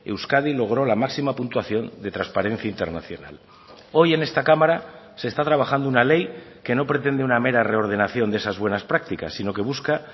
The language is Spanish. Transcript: euskadi logró la máxima puntuación de transparencia internacional hoy en esta cámara se está trabajando una ley que no pretende una mera reordenación de esas buenas prácticas sino que busca